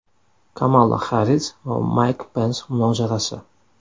Kamala Xarris va Mayk Pens munozarasi.